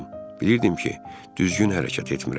Bilirdim ki, düzgün hərəkət etmirəm.